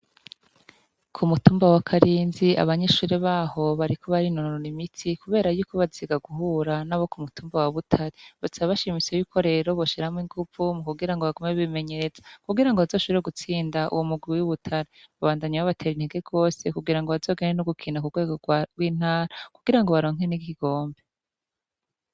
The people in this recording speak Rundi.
Ku mutumba wa Karinzi abanyeshure baho bariko barinonora imitsi kubera yuko baziga guhura n'abo ku mutumba wa Butare, basaba bashitse rero ko boshiramwo ingumvu mu kugira ngo bagume bimenyereza kugira ngo bazoshobore gutsinda uwo mugwi w'i Butare, babandanya babatera intege gose kugira ngo bazogende no gukina ku rwego rw'intara kugira ngo baronke n'igikombe.